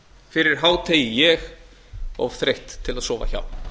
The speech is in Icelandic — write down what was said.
fyrir hádegi ég of þreytt til að sofa hjá